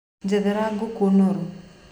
Njethera na ngũkũ noru.